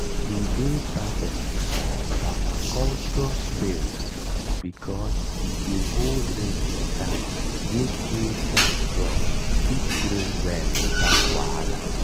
e dey perfect for permaculture swales because e dey hold rainwater make hillside crops fit grow well without wahala.